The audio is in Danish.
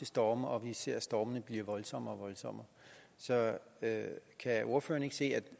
storme og vi ser stormene blive voldsommere og voldsommere så kan ordføreren ikke se